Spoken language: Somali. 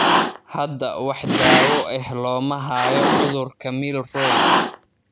Hadda wax daawo ah looma hayo cudurka Milroy.